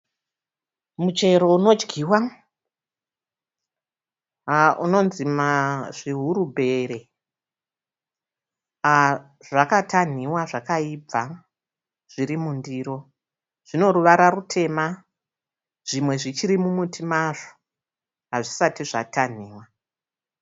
Muchero unodyiwa unonzi zvihurubhere. Zvakatanhiwa zvakaibva zvirimundiro, zvinoruvara rutema. Zvimwe zvichiri mumuti mazvo hazvisati zvatanhiwa.